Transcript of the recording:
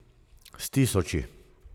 S tisoči.